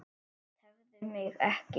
Tefðu mig ekki.